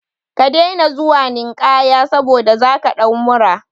Ka daina zuwa ninkaya saboda zaka ɗau mura